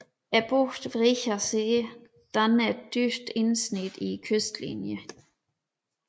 Bugten Wreecher See danner et dybt indsnit i kystenlinjen